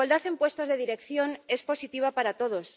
La igualdad en puestos de dirección es positiva para todos.